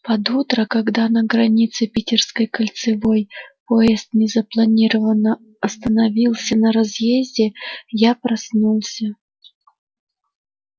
под утро когда на границе питерской кольцевой поезд незапланированно остановился на разъезде я проснулся